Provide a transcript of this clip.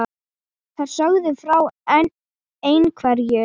Þær sögðu frá ein- hverju.